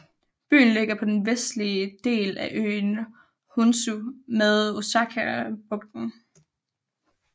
Byen ligger på den vestlige del af øen Honshu ved Osakabugten